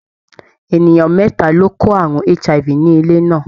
Ènìyàn mẹ́ta ló kó àrùn HIV ní ilé náà.